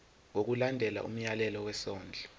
ngokulandela umyalelo wesondlo